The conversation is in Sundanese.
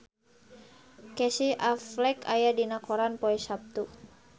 Casey Affleck aya dina koran poe Saptu